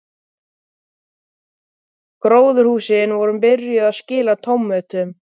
Gróðurhúsin voru byrjuð að skila tómötum.